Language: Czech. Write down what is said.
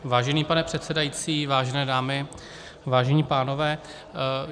Vážený pane předsedající, vážené dámy, vážení pánové.